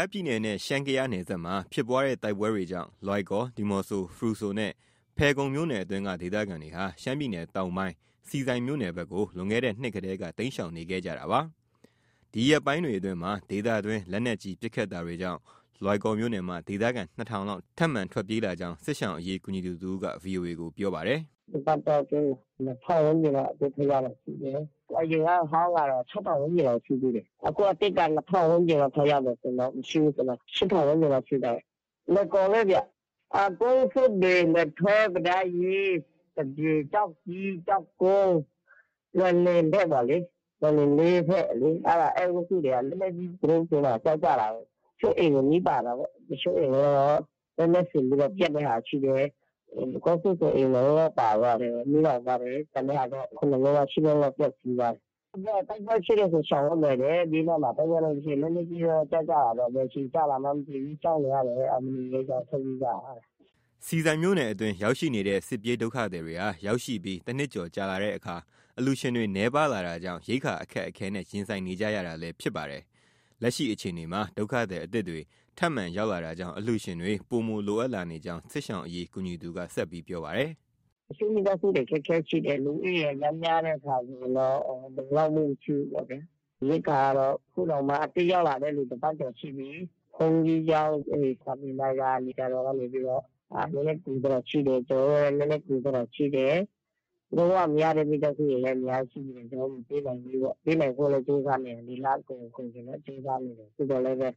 ားပြည်နယ်နဲ့ ရှမ်း-ကယားနယ်စပ်မှာ ဖြစ်ပွားတဲ့တိုက်ပွဲတွေကြောင့် လွိုင်ကော်၊ ဒီမောဆို၊ ဖရူဆိုနဲ့ ဖယ်ခုံမြို့နယ်အတွင်းက ဒေသခံတွေဟာ ရှမ်းပြည်နယ်တောင်ပိုင်းဆီဆိုင်မြို့နယ်ဘက်ကို လွန်ခဲ့တဲ့နှစ်တည်းက တိမ်းရှောင်နေခဲ့ကြတာပါ။ ဒီရက်ပိုင်းအတွင်းမှာ ဒေသတွင်းလက်နက်ကြီး ပစ်ခတ်တာတွေကြောင့် လွိုင်ကော်မြို့နယ်မှ ဒေသခံ ၂ထောင်လောက် ထပ်မံထွက်ပြေးလာကြောင်း စစ်ရှောင်အရေး ကူညီသူတစ်ဦးက VOA ကို ပြောပါတယ်။ “ ဒီတစ်ပတ်အတော်အတွင်း ၂ထောင်ဝန်းကျင်လောက်အသစ်ရောက်တာရှိတယ်။ အရင်က အဟောင်းက ၆ထောင် ဝန်းကျင်လောက်ရှိသေးတယ်။ အခုအသစ်က ၂ထောင်ဝန်းကျင်လောက် ထပ်ရောက်တာဆိုရင်တော့ မရှိဘူးဆို ၈ထောင် ရှိတာပေါ့။ လွိုင်ကော်ပဲဗျ။ ကုန်းဆွတ်။ လယ်ထွဲ၊ ပဒတ်ကြီး၊ ကျောက်ကြီး၊ ကျောက်ကုန်း၊ လွယ်လင်ဘက်ပေါ့လေ။ လွိုင်လင်လေးဘက်လေ အဲဒီအုပ်စုတွေက လက်နက်ကြီး သူတို့ ဆီမှာ ကျ ကျလာလို့ တချို့အိမ်တွေ မီးပါတာပေါ့။ တချို့အိမ်တွေကတော့ လက်နက်စင်ပြီးတော့ ပျက်တဲ့ဟာရှိတယ်။ ကုန်းဆွတ်ဆို အိမ် ၂လုံးလောက်ပါသွားတယ် မီးလောင်သွားတယ်။ ကျန်တဲ့ဟာတော့ ၇လုံးလောက်။ ၈လုံးလောက် ပျက်ဆီးသွားတယ်။ သူတို့ ပြောတာ တိုက်ပွဲဖြစ်တယ်ဆို ရှောင်လို့ လွယ်တယ်၊ ဘေးနားမှာ တိုက်ပွဲလည်း မဖြစ်ပဲ လက်နက်ကြီးလည်း ကျ ကျလာတော့၊ ဘယ်အချိန်ကျလာမှန်း မသိဘူး ကြောက်နေရတယ်တဲ့။ အဲဒါ မနေရဲကြဘူး ထွက်ပြေးကြတာတဲ့။” ဆီဆိုင်မြို့နယ်အတွင်းရောက်ရှိနေတဲ့ စစ်ပြေးဒုက္ခသည်တွေဟာ ရောက်ရှိပြီး တစ်နှစ်ကျော်ကြာလာတဲ့အခါ အလှုရှင်တွေ နည်းပါးလာတာကြောင့် ရိက္ခာအခက်အခဲနဲ့ ရင်ဆိုင်နေကြရတာလည်းဖြစ်ပါတယ်။ လက်ရှိ အခြေအနေမှာ ဒုက္ခသည်အသစ်တွေ ထပ်မံရောက်လာတာကြောင့် အလှုရှင်တွေ ပိုမို လိုအပ်လာနေကြောင်း စစ်ရှောင်အရေးကူညီသူက ဆက်ပြောပါတယ်။ “ တချို့မိသားစုတွေ အခက်အခဲရှိတယ်။ လူဦးရေက အရမ်းများတဲ့အခါကျ လုံလောက်မှုမရှိဘူးလေ။ ရိက္ခာကတော့ အခုတောင်မှ အသစ်ရောက်လာတဲ့သူ တစ်ပတ်ကျော်ရှိပြီ။ ဘုန်းကြီးကျောင်း အဲဒီစာသင်တိုက်က ဆရာတော်ကနေပြီးတော့ နည်းနည်းကူထားတာရှိတယ်။ ကျနော်တို့လည်း နည်းနည်းကူထားတာရှိတယ်။ လုံး၀ မရတဲ့ မိသားစုတွေလည်း ရှိတယ်။ ကျနော်တို့ မပေးနိုင်သေးဘူးပေါ့။ ပေးနိုင်ဖို့တော့ ကျနော်တို့ကြိုးစားနေတယ်။ ဒီလ မကုန်ခင် ကြိုးစားနေတယ်။ သို့သော်လည်းပဲ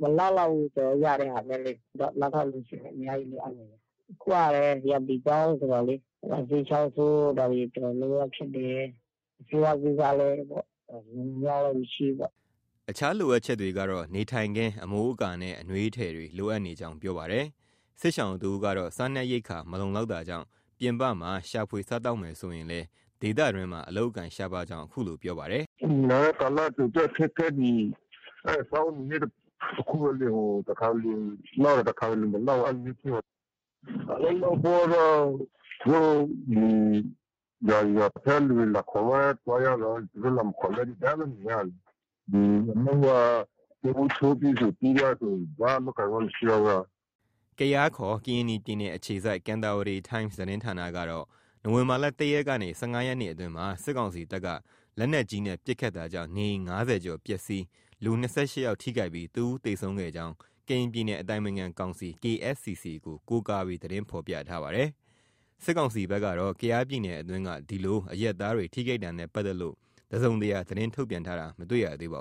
မလောက် လောက်ဘူး။ ကျနော်တို့ ရတဲ့ဟာနဲ့လေ။ မလောက် လောက်ဘူး နောက်ထပ်အလှုရှင်တွေ အများကြီး လိုအပ်နေတယ်။ အခုကလည်း ရာသီပြောင်းဆိုတော့လေ နှာစေး၊ ချောင်းဆိုးတာတွေ တော်တော်များများဖြစ်တယ်။ ဆေးဝါးကိစ္စလည်းပေါ့ လုံလုံလောက်လောက်မရှိဘူးပေါ့။ ” အခြားလိုအပ်ချက်တွေကတော့ နေထိုင်ခင်း အမိုးအကာနဲ့ အနွေးထည်တွေ လိုအပ်နေကြောင်း ပြောပါတယ်။ စစ်ရှောင်တစ်ဦးကတော့ စားနပ်ရိက္ခာ မလုံလောက်တာကြောင့် ပြင်ပမှာ ရှာဖွေ စားသောက်မယ်ဆိုရင်လည်း ဒေသတွင်းမှာ အလုပ်အကိုင်ရှားပါးကြောင်း အခုလို ပြောပါတယ်။ “ နေလာတဲ့ကာလ ကြုံတဲ့အခက်အခဲက ဒီ စားဝတ်နေရေး အခက်တစ်ခုပဲလေ။ တစ်ခါတစ်လေ လောက်တယ်။ တစ်ခါတစ်လေမလောက်ဘူး။ အဲလိုမျိုးဖြစ်တယ်။ အလုပ်လုပ်ဖို့ကတော့ သူတို့ ဒီ ရွာထဲက လူတွေ လာခေါ်မှ သွားရတာကိုး။ သူတို့ လာမခေါ်ရင်လည်း ဒီတိုင်းပဲ နေရတာလေ။ အလုပ်က ပြောင်းဖူးချိုးပြီးပြီဆို ပြီးသွားပြီဆို ဘာမှ အလုပ်အကိုင်မှ မရှိတော့ဘူး။ ” ကယားခေါ် ကရင်နီပြည်နယ် အခြေစိုက် Kantarawaddy Times သတင်းဌာနကတော့ နိုဝင်ဘာလ ၁ရက်ကနေ ၁၅ရက်နေ့အတွင်းမှာ စစ်ကောင်စီတပ်က လက်နက်ကြီးနဲ့ပစ်ခတ်တာကြောင့် နေအိမ် ၅၀ကျော် ပျက်ဆီး၊ လူ ၂၈ယောက် ထိခိုက်ပြီး တစ်ဦးသေဆုံးခဲ့ကြောင်း ကရင်နီပြည်အတိုင်ပင်ခံကောင်စီ KSCC ကိုးကားပြီး သတင်းဖော်ပြထားပါတယ်။စစ်ကောင်စီဘက်ကတော့ ကယားပြည်နယ်အတွင်း ဒီလိုအရပ်သားတွေ ထိခိုက်တာနဲ့ပတ်သက်လို့ တစုံတရာ သတင်းထုတ်ပြန်တာ မတွေ့ရပါ